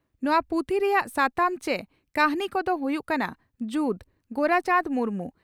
ᱱᱚᱣᱟ ᱯᱩᱛᱷᱤ ᱨᱮᱭᱟᱜ ᱥᱟᱛᱟᱢ ᱪᱮ ᱠᱟᱹᱦᱱᱤ ᱠᱚᱫᱚ ᱦᱩᱭᱩᱜ ᱠᱟᱱᱟ ᱺ ᱡᱩᱫᱽ (ᱜᱳᱨᱟᱪᱟᱱᱫᱽ ᱢᱩᱨᱢᱩ)